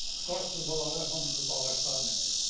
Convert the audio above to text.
Qaz turbaları hamısı bu ağaclarla gedir.